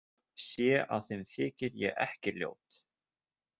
Sé að þeim þykir ég ekki ljót.